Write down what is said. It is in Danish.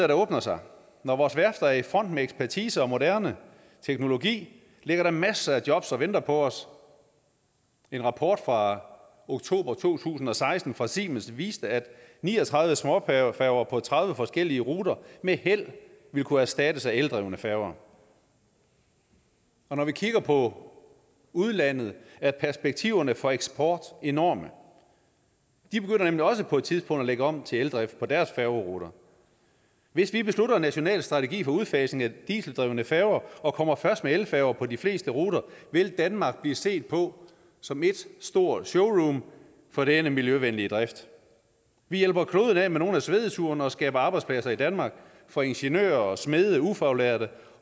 der åbner sig når vores værfter er i front med ekspertise og moderne teknologi ligger der masser af jobs og venter på os en rapport fra oktober to tusind og seksten fra siemens viste at ni og tredive små færger færger på tredive forskellige ruter med held vil kunne erstattes af eldrevne færger og når vi kigger på udlandet er perspektiverne for eksport enorme de begynder nemlig også på et tidspunkt at lægge om til eldrift på deres færgeruter hvis vi beslutter en national strategi for udfasning af dieseldrevne færger og kommer først med elfærger på de fleste ruter vil danmark blive set på som et stort showroom for denne miljøvenlige drift vi hjælper kloden af med nogle af svedeturene og skaber arbejdspladser i danmark for ingeniører smede ufaglærte